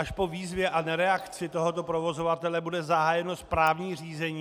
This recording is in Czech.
Až po výzvě a nereakci tohoto provozovatele bude zahájeno správní řízení.